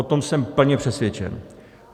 O tom jsem plně přesvědčen.